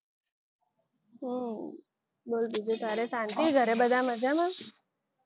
બોલ બીજું તારે શાંતિ ઘરે બધા મજામાં?